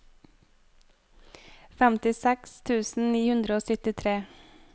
femtiseks tusen ni hundre og syttitre